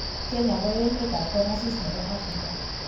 kenya ko emet ne kong'asis ne bo Afrika.